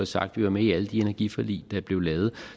sagt vi var med i alle de energiforlig der blev lavet